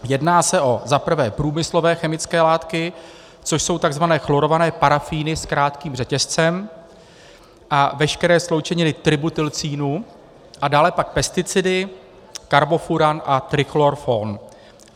Jedná se o za prvé průmyslové chemické látky, což jsou tzv. chlorované parafíny s krátkým řetězcem a veškeré sloučeniny tributylcínu, a dále pak pesticidy, karbofuran a trichlorfon.